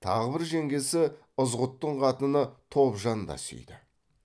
тағы бір жеңгесі ызғұттың қатыны тобжан да сүйді